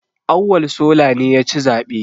Auwal sola ne ya ci zaɓe